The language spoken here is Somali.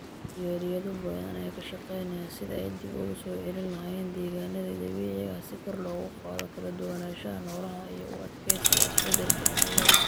Jaaliyado badan ayaa ka shaqeynaya sidii ay dib ugu soo celin lahaayeen deegaannadii dabiiciga ahaa si kor loogu qaado kala duwanaanshaha noolaha iyo u adkeysiga isbedelka cimilada.